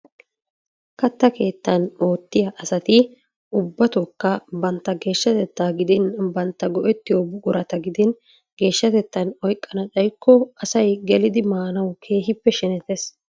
Kattaa keettan oottiya asati ubbatookka bantta geeshshatetaa gidin bantta go'ettiyo buqurata gidin geeshshatettan oyiqqana xayikko asay gelidi maanawu keehippe shenetes.